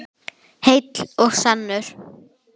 Heill og sannur.